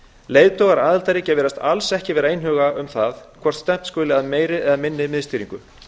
leiðtogar aðildarríkja virðast alls ekki einhuga um hvort stefnt skuli að meiri eða minni miðstýringu